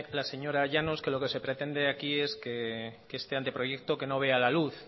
la señora llanos que lo que se pretende aquí es que este anteproyecto no vea la luz